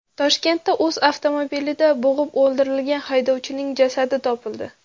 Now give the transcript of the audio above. Toshkentda o‘z avtomobilida bo‘g‘ib o‘ldirilgan haydovchining jasadi topildi.